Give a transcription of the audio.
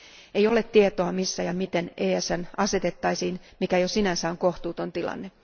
Ei ole tietoa, missä ja miten ESN asetettaisiin, mikä jo sinänsä on kohtuuton tilanne.